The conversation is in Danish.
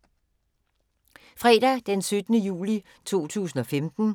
Fredag d. 17. juli 2015